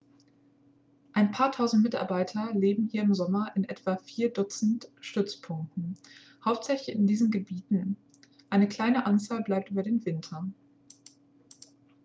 ein paar tausend mitarbeiter leben hier im sommer in etwa vier dutzend stützpunkten hauptsächlich in diesen gebieten eine kleine anzahl bleibt über den winter